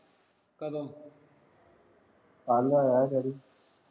ਕਦੋਂ ਕੱਲ੍ਹ ਆਇਆ daddy